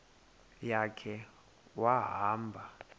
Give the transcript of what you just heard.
ya khe wahamba